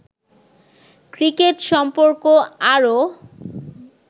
cricket সম্পর্ক আরো